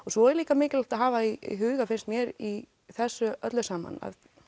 svo er líka mikilvægt að hafa í huga finnst mér í þessu öllu saman